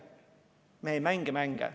Me ei mängi mänge.